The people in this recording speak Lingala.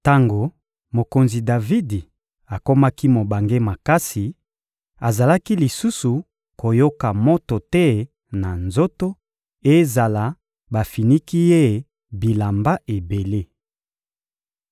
Tango mokonzi Davidi akomaki mobange makasi, azalaki lisusu koyoka moto te na nzoto, ezala bafiniki ye bilamba ebele.